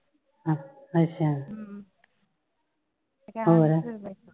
ਹਮ ।